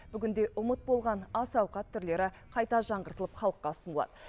бүгінде ұмыт болған ас ауқат түрлері қайта жаңғыртылып халыққа ұсынылады